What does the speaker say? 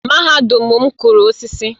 Mahadum m kụrụ osisi